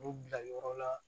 U bila yɔrɔ la